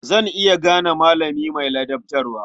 Zan iya gane malami mai ladabtarwa.